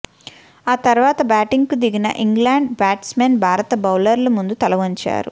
ఆ తర్వాత బ్యాటింగుకు దిగిన ఇంగ్లాండు బ్యాట్స్ మెన్ భారత బౌలర్ల ముందు తల వంచారు